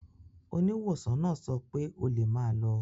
Oníwòsàn náà sọ pé o lè máa lọ.